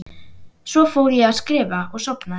Svo fór ég að skrifa og sofnaði.